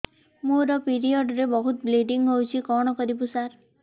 ମୋର ପିରିଅଡ଼ ରେ ବହୁତ ବ୍ଲିଡ଼ିଙ୍ଗ ହଉଚି କଣ କରିବୁ ସାର